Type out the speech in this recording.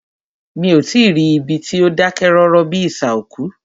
Mí o tí ì rí ibi tí o dákẹ́ rọ́rọ́ bíi isà òkú.